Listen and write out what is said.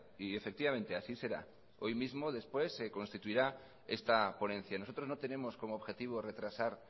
y efectivamente así será hoy mismo después se constituirá esta ponencia nosotros no tenemos como objetivo retrasar